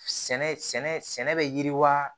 Sɛnɛ sɛnɛ bɛ yiriwa